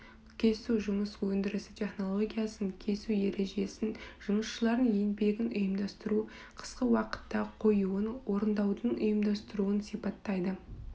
кесу жұмыс өндірісі технологиясын кесу ережесін жұмысшылардың еңбегін ұйымдастыру қысқы уақытта қоюын орындаудың ұйымдастыруын сипаттайды